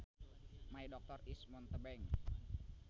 My doctor is a mountebank